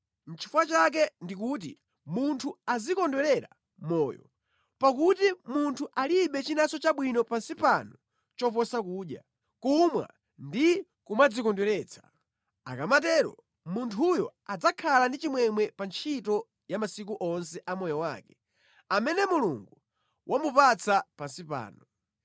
Nʼchifukwa chake ndikuti munthu azikondwerera moyo, pakuti munthu alibe chinanso chabwino pansi pano choposa kudya, kumwa ndi kumadzikondweretsa. Akamatero, munthuyo adzakhala ndi chimwemwe pa ntchito yake masiku onse a moyo wake amene Mulungu wamupatsa pansi pano.